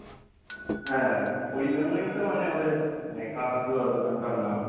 হ্যাঁ ওই জন্যই তো মানে ওদের মানে কাকাতুয়া দোকানটার নাম।